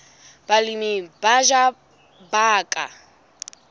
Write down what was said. balemi ba batjha ba ka